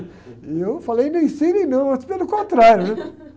E eu falei, não ensinem, não, muito pelo contrário, né?